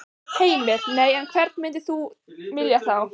Heimir: Nei, en hvern myndir þú vilja fá?